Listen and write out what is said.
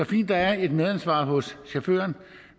fint der er et medansvar hos chaufføren